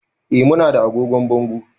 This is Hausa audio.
Eh, mu na da agogon bango